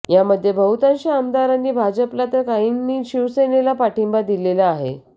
यामध्ये बहुतांश आमदारांनी भाजपला तर काहींनी शिवसेनेला पाठींबा दिलेला आहे